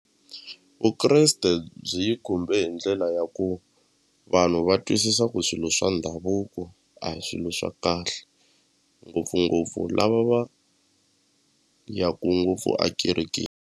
Vukreste byi yi khumbe hi ndlela ya ku vanhu va twisisa ku swilo swa ndhavuko a hi swilo swa kahle ngopfungopfu lava va yaku ngopfu a kerekeni.